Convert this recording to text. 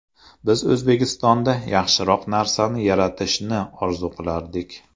Biz O‘zbekistonda yaxshiroq narsani yaratishni orzu qilardik.